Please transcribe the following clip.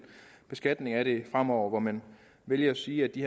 beskatning af det fremover hvor man vælger at sige at de